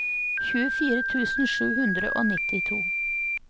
tjuefire tusen sju hundre og nittito